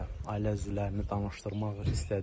Ailə üzvlərini danışdırmaq istədik.